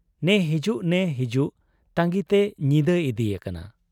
ᱱᱮ ᱦᱤᱡᱩᱜ ᱱᱮ ᱦᱤᱡᱩᱜ ᱛᱟᱺᱜᱤᱛᱮ ᱧᱤᱫᱟᱹ ᱤᱫᱤ ᱭᱟᱠᱟᱱᱟ ᱾